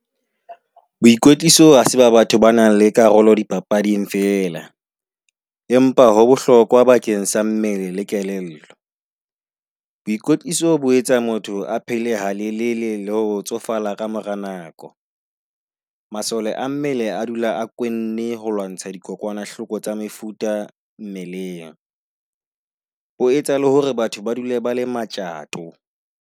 Boikotliso ha se ba batho ba nang le karolo di papading feela, empa ho bohlokwa bakeng sa mmele le kelello. Boikotliso bo etsa motho a phele ha lelele le ho tsofala ka mora nako. Masole a mmele a dula a kwenne ho lwantsha dikokwanahloko tsa mefuta mmeleng, ho etsa le hore batho ba dule ba le matjato.